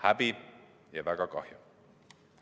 Häbi ja väga kahju!